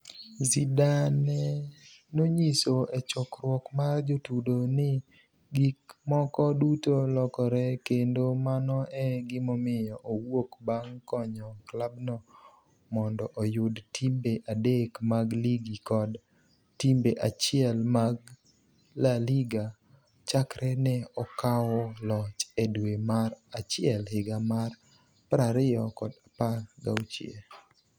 Zidane nonyiso e chokruok mar jotudo ni gik moko duto lokore kendo mano e gimomiyo owuok bang’ konyo klabno mondo oyud timbe adek mag ligi kod timbe achiel mag La Liga chakre ne okawo loch e dwe mar achiel higa mar 2016.